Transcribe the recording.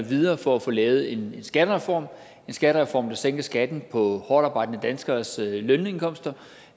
videre for at få lavet en skattereform en skattereform der sænker skatten på hårdtarbejdende danskeres lønindkomster